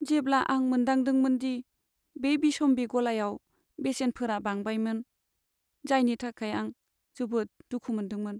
जेब्ला आं मोनदांदोंमोन दि बे बिसम्बि गलायाव बेसेनफोरा बांबायमोन, जायनि थाखाय आं जोबोद दुखु मोनदोंमोन।